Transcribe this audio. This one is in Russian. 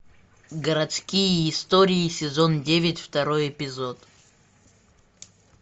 городские истории сезон девять второй эпизод